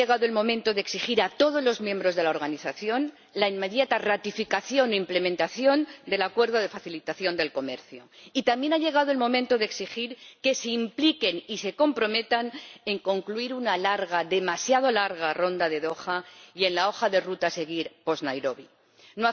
Ha llegado el momento de exigir a todos los miembros de la Organización la inmediata ratificación e implementación del Acuerdo sobre Facilitación del Comercio y también ha llegado el momento de exigir que se impliquen y se comprometan en concluir una larga, demasiado larga, Ronda de Doha y en la hoja de ruta que deberá seguirse después de la Conferencia de Nairobi.